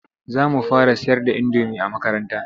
Za mu fara sayar da indomi a makaranta.